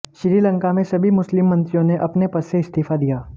श्रीलंका में सभी मुस्लिम मंत्रियों ने अपने पद से इस्तीफा दिया